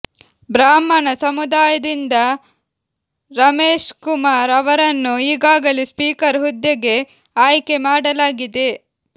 ಬ್ರಾಹ್ಮಣ ಸಮುದಾಯದಿಂದ ರಮೇಶ್ಕುಮಾರ್ ಅವರನ್ನು ಈಗಾಗಲೇ ಸ್ಪೀಕರ್ ಹುದ್ದೆಗೆ ಆಯ್ಕೆ ಮಾಡಲಾಗಿದೆ